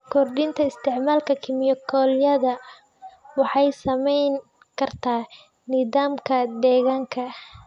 Kordhinta isticmaalka kiimikooyinka waxay saameyn kartaa nidaamka deegaanka.